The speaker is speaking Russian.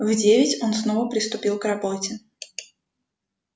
в девять он снова приступил к работе